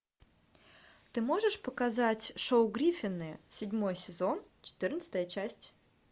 ты можешь показать шоу гриффины седьмой сезон четырнадцатая часть